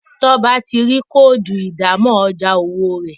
Toba tí rí Kóòdù ìdámọ̀ ọjà owó rẹ.